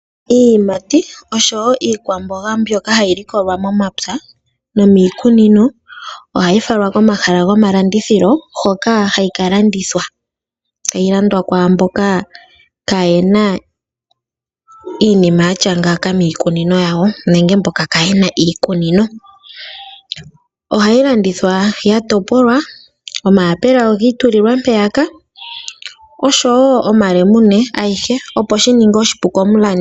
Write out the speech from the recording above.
Iiyimati oshowo iikwamboga mbyoka hayi likolwa momapya nomiikunino ohayi falwa komahala gomalandithilo hoka hayi ka landithwa. Ohayi landwa kwaamboka kaaye na iinima ya tya ngaaka miikunino yawo nenge mboka kaaye na iikunino. Ohayi landithwa ya topolwa, omayapula ogi i tulilwa mpeyaka, oshowo omalemune ayihe, opo shi ninge oshipu komulandi.